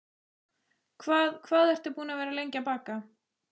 Hvað hvað ertu búin að vera lengi að baka?